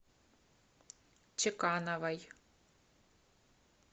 чекановой